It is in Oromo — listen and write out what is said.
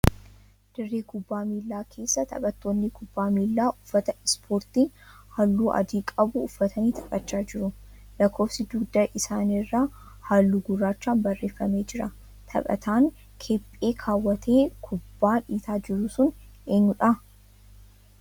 Dirree kubbaa miilaa keessa taphattoonni kubbaa miilaa uffata 'ispoortii' halluu adii qabu uffatanii taphachaa jiru. Lakkoofsi dhugda isaanii irraa halluu gurraachaan barreeffamee jira. Taphataan kephee kaawwatee kubbaa dhiitaa jiru sun eenyuudhaa?